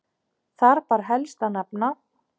Þar ber helst að nefna